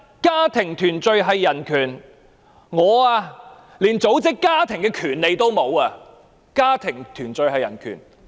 家庭團聚是人權，但我連組織家庭的權利也沒有。